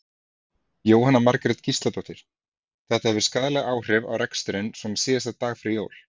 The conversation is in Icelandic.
Jóhanna Margrét Gísladóttir: Þetta hefur skaðleg áhrif á reksturinn svona síðasta daginn fyrir jól?